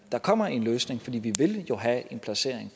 der kommer en løsning for vi vil jo have en placering